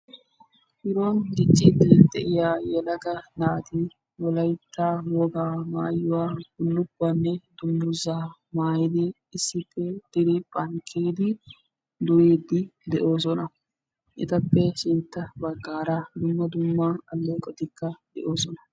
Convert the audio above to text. bironi diccidi de"iyaa yelaga naati wolaytta wogaa maayuwa bulukuwanne dunguzzaa maayidi issippe diripha bollani kiyidi duridi dossona ettappe sintta bagara dumma dumma aleqotikka doossona.